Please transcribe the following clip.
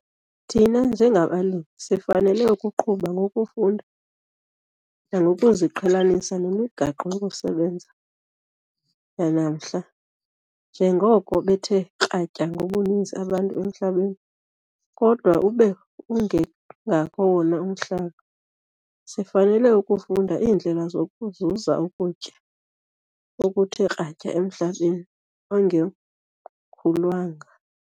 Thina njengabalimi, sifanele ukuqhuba ngokufunda nangokuziqhelanisa nemigaqo yokusebenza yanamhla - njengoko bethe kratya ngobuninzi abantu emhlabeni kodwa ube ungengako wona umhlaba, sifanele ukufunda iindlela zokuzuza ukutya okuthe kratya emhlabeni ongemkhulwanga.